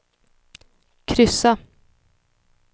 kryssa